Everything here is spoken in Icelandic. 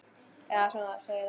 Eða svo segir hann.